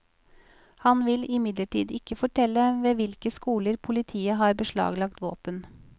Han vil imidlertid ikke fortelle ved hvilke skoler politiet har beslaglagt våpen.